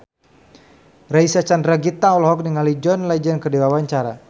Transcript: Reysa Chandragitta olohok ningali John Legend keur diwawancara